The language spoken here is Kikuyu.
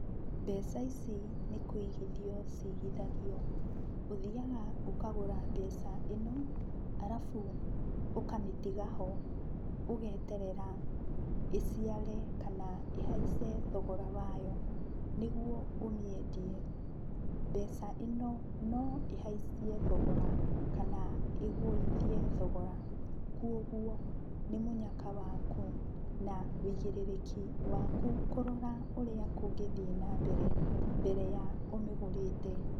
Mbeca ici nĩkũigithio cigithagio. Ũthiaga ũkagũra mbeca ĩno alafu ũkamĩtiga ho, ũgeterera ĩciare kana ĩhaice thogora wayo nĩguo ũmĩendie. Mbeca ĩno, no ĩhaicie thogora kana ĩgũithie thogora, kuoguo, nĩ mũnyaka waku na wĩigĩrĩrĩki waku kũrora ũrĩa kũngĩthiĩ na mbere, mbere ya ũmĩgũrĩte.